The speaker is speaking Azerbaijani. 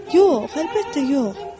Yox, əlbəttə, yox.